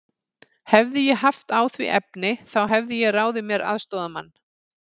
Hefði ég haft á því efni, þá hefði ég ráðið mér aðstoðarmann.